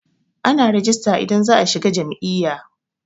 Ana rejista idan za'a shiga jam'iyya.